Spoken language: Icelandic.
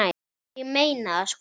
Ég meina það, sko.